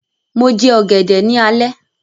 Mo jẹ ọ̀gẹ̀dẹ̀ ní alẹ́